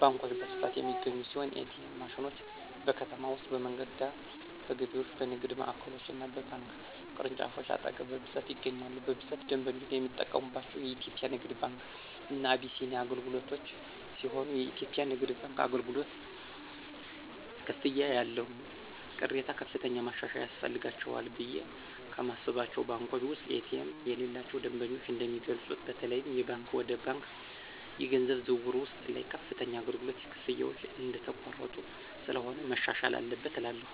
ባንኮች በስፋት የሚገኙ ሲሆን ኤ.ቲ.ኤም ማሽኖች: በከተማ ውስጥ በመንገድ ዳር፣ በገበያዎች፣ በንግድ ማዕከሎች እና በባንክ ቅርንጫፎች አጠገብ በብዛት ይገኛሉ። በብዛት ደንበኞች የሚጠቀምባቸው የኢትዮጽያ ንግድ ባንክ እና አቢሲኒያ አገልግሎትሲሆንየኢትዮጵያ ንግድ ባንክ አገልግሎት፨ ክፍያዎች ያለው ቅሬታ ከፍተኛ ማሻሻያ ያስፈልጋቸዋልቑ ብየ ከማስባቸው ባንኮች ውስጥ ኤ.ቲ.ኤም የሌላቸው ደንበኞች እንደሚገልጹት በተለይም የባንክ ወደ ባንክ የገንዘብ ዝውውር ውስጥ ላይ ከፍተኛ የአገልግሎት ክፍያዎች እየተቆረጡ ስለሆነ መሻሻል አለበት እላለሁ።